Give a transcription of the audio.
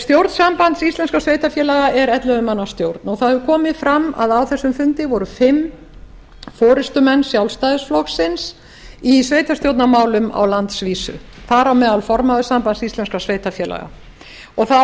stjórn sambands íslenskra sveitarfélaga er ellefu manna stjórn og það hefur komið fram að á þessum fundi voru fimm forustumenn sjálfstæðisflokksins í sveitarstjórnarmálum á landsvísu þar á meðal formaður sambands íslenskra sveitarfélaga á